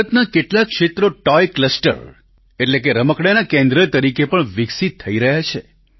ભારતના કેટલાક ક્ષેત્રો ટોય ક્લસ્ટર એટલે કે રમકડાંનાં કેન્દ્ર તરીકે પણ વિકસિત થઈ રહ્યા છે